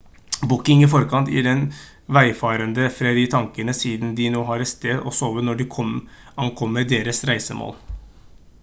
booking i forkant gir den veifarende fred i tankene siden de nå har et sted å sove når de ankommer deres reisemål